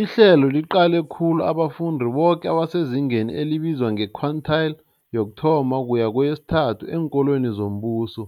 Ihlelo liqale khulu abafundi boke abasezingeni elibizwa nge-quintile 1-3 eenkolweni zombuso,